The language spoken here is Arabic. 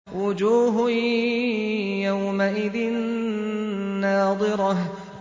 وُجُوهٌ يَوْمَئِذٍ نَّاضِرَةٌ